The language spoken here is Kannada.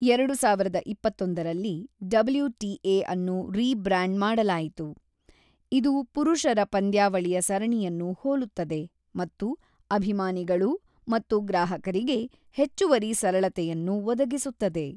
ಎರಡು ಸಾವಿರದ ಇಪ್ಪತ್ತೊಂದರಲ್ಲಿ, ಡಬ್ಲ್ಯು.ಟಿ.ಎ. ಅನ್ನು ರೀಬ್ರಾಂಡ್ ಮಾಡಲಾಯಿತು, ಇದು ಪುರುಷರ ಪಂದ್ಯಾವಳಿಯ ಸರಣಿಯನ್ನು ಹೋಲುತ್ತದೆ ಮತ್ತು ಅಭಿಮಾನಿಗಳು ಮತ್ತು ಗ್ರಾಹಕರಿಗೆ ಹೆಚ್ಚುವರಿ ಸರಳತೆಯನ್ನು ಒದಗಿಸುತ್ತದೆ.